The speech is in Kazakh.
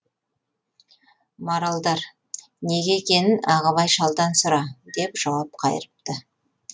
маралдар неге екенін ағыбай шалдан сұра деп жауап қайырыпты